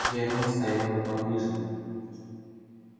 германн стоял неподвижно